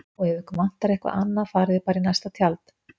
Og ef ykkur vantar eitthvað annað farið þið bara í næsta tjald